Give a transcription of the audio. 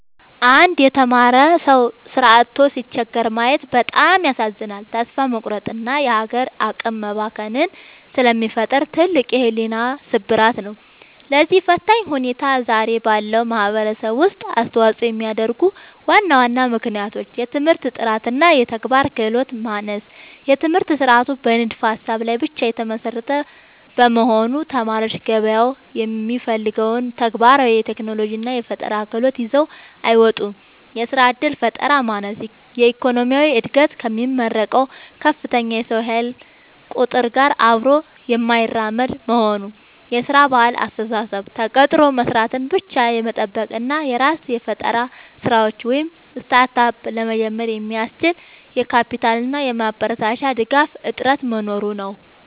አንድ የተማረ ሰው ሥራ አጥቶ ሲቸገር ማየት በጣም ያሳዝናል፤ ተስፋ መቁረጥንና የሀገር አቅም መባከንን ስለሚፈጥር ትልቅ የሕሊና ስብራት ነው። ለዚህ ፈታኝ ሁኔታ ዛሬ ባለው ማኅበረሰብ ውስጥ አስተዋፅኦ የሚያደርጉ ዋና ዋና ምክንያቶች፦ የትምህርት ጥራትና የተግባር ክህሎት ማነስ፦ የትምህርት ሥርዓቱ በንድፈ-ሀሳብ ላይ ብቻ የተመሰረተ በመሆኑ፣ ተማሪዎች ገበያው የሚፈልገውን ተግባራዊ የቴክኖሎጂና የፈጠራ ክህሎት ይዘው አይወጡም። የሥራ ዕድል ፈጠራ ማነስ፦ የኢኮኖሚው ዕድገት ከሚመረቀው ከፍተኛ የሰው ኃይል ቁጥር ጋር አብሮ የማይራመድ መሆኑ። የሥራ ባህልና አስተሳሰብ፦ ተቀጥሮ መሥራትን ብቻ የመጠበቅ እና የራስን የፈጠራ ሥራዎች (Startup) ለመጀመር የሚያስችል የካፒታልና የማበረታቻ ድጋፍ እጥረት መኖሩ ነው።